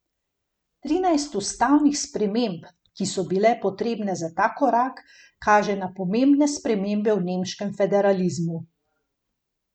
Trinajst ustavnih sprememb, ki so bile potrebne za ta korak, kaže na pomembne spremembe v nemškem federalizmu.